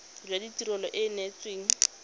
jwa tirelo e e neetsweng